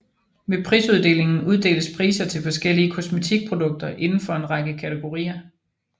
Ved prisuddelingen uddeles priser til forskellige kosmetikprodukter inden for en række kategorier